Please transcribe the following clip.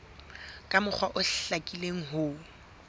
ka mokgwa o hlakileng ho